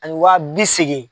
Ani wa bi seegin.